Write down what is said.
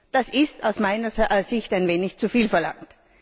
Das ist aus meiner Sicht ein wenig zu viel verlangt.